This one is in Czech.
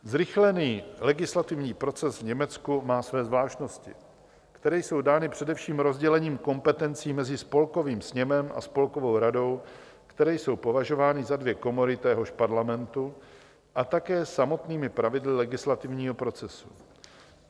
Zrychlený legislativní proces v Německu má své zvláštnosti, které jsou dány především rozdělením kompetencí mezi Spolkovým sněmem a Spolkovou radou, které jsou považovány za dvě komory téhož parlamentu, a také samotnými pravidly legislativního procesu.